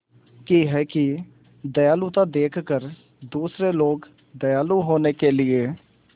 की है कि दयालुता देखकर दूसरे लोग दयालु होने के लिए